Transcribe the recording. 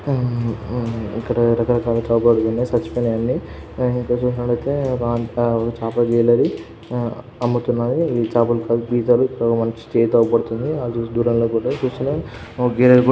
హ్మ్ హ్మ్ ఇక్కడ రక రకాల చాపలు పడి ఉన్నాయ్. సచ్చిపోయినాయి అన్ని. ఇక్కడ చూస్కున్నట్లైతే ఒక ఆన్ ఒక చాపల జైలరి ఆ అమ్ముతున్నది. ఈ చాపలు కడుగుతారు. ఇక్కడ మనకి చేయ్యైతే అవుపడుతున్నది. దూరంలో కూడా చూస్తున్నాం.